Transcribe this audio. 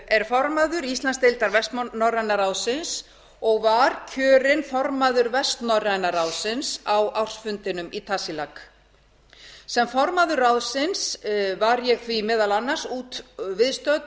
er formaður íslandsdeildar vestnorræna ráðsins var kjörin formaður vestnorræna ráðsins á ársfundinum í tasiilaq sem formaður ráðsins var ég því meðal annars viðstödd